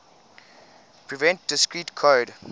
prevent discrete code